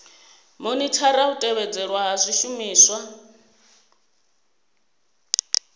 monithara u tevhedzelwa ha zwishumiswa